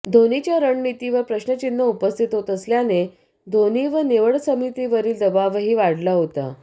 धोनीच्या रणनितीवर प्रश्नचिन्ह उपस्थित होत असल्याने धोनी व निवडसमितीवरील दबावही वाढला होता